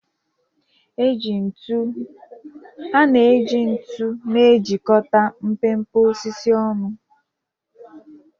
A na-eji ntu na-ejikọta mpempe osisi ọnụ.